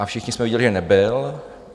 A všichni jsme viděli, že nebyl.